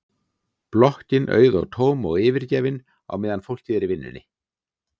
Blokkin auð og tóm og yfirgefin á meðan fólkið er í vinnunni.